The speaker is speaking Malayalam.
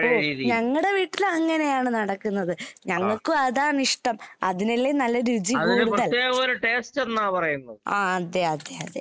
ഓ ഞങ്ങടെ വീട്ടിൽ അങ്ങനെയാണ് നടക്കുന്നത്. ഞങ്ങക്കും അതാണിഷ്ടം. അതിനല്ലേ നല്ല രുചി കൂടുതൽ. ആഹ് അതെ അതെ അതെ.